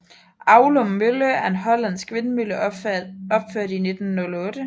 Aulum Mølle er en hollandsk vindmølle opført i 1908